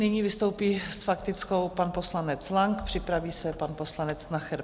Nyní vystoupí s faktickou pan poslanec Lang, připraví se pan poslanec Nacher.